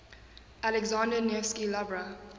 alexander nevsky lavra